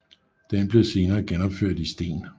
Den blev senere genopført i sten